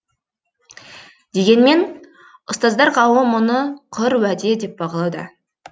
дегенмен ұстаздар қауымы мұны құр уәде деп бағалауда